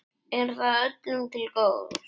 Er það öllum til góðs?